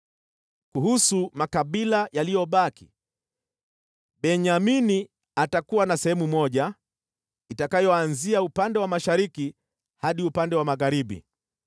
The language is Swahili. “Kuhusu makabila yaliyobaki: Benyamini atakuwa na sehemu moja, itakayoanzia upande wa mashariki hadi upande wa magharibi.